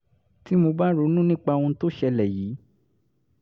tí mo bá ronú nípa ohun tó ṣẹlẹ̀ yìí